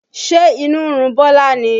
Ṣe inú ń run Bọlá ni?